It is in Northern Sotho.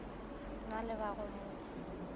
na le ba go mo